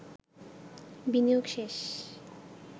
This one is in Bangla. বিনিয়োগ শেষ